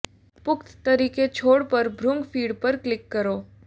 પુખ્ત તરીકે છોડ પર ભૃંગ ફીડ પર ક્લિક કરો